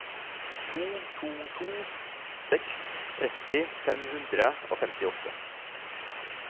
to to to seks tretti fem hundre og femtiåtte